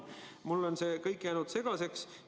Mulle on see kõik jäänud segaseks.